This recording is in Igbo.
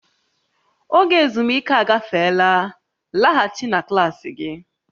Oge ezumike agafeela, laghachi na klaasị gị!